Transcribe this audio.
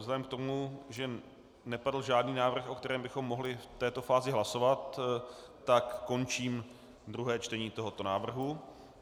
Vzhledem k tomu, že nepadl žádný návrh, o kterém bychom mohli v této fázi hlasovat, tak končím druhé čtení tohoto návrhu.